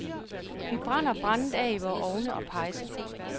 Vi brænder brændet af i vore ovne og pejse.